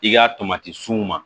I ka tomati sunw ma